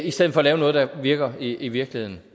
i stedet for at lave noget der virker i virkeligheden